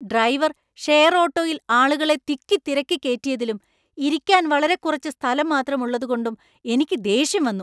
Driver share ഓട്ടോയിൽ ആളുകളെ തിക്കി തിരക്കി കേറ്റിയതിലും ഇരിക്കാൻ വളരെ കുറച്ച് സ്ഥലം മാത്രം ഉള്ളതുകൊണ്ടും എനിക്ക് ദേഷ്യം വന്നു.